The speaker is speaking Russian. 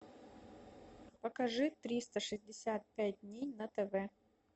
покажи триста шестьдесят пять дней на тв